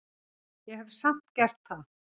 Ég hef samt gert það.